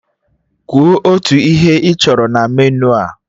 Kwuo otu ihe ị chọrọ na meniu a!